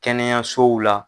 Kɛnɛyasow la.